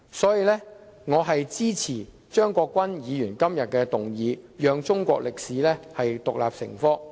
所以，我支持張國鈞議員今天提出的議案，讓中史獨立成科。